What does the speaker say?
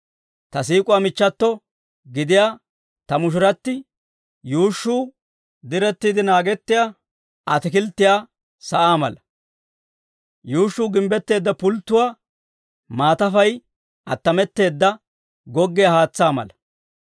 Ta siik'uwaa michchato gidiyaa ta mushurati yuushshuu, direttiide naagettiyaa ataakilttiyaa sa'aa mala. Yuushshuu gimbbetteedda pulttuwaa, maatafay attametteedda goggiyaa haatsaa mala.